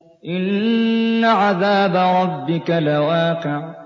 إِنَّ عَذَابَ رَبِّكَ لَوَاقِعٌ